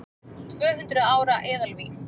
Tvöhundruð ára eðalvín